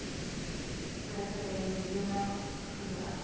president zuma glo